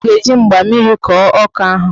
Ọ ga-eji mgba mmiri kọọ ọka ahụ